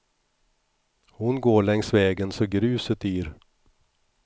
Hon går längs vägen så gruset yr.